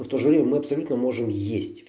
в то же время мы абсолютно можем есть